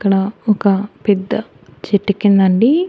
ఇక్కడ ఒక పెద్ద చెట్టు కిందండి.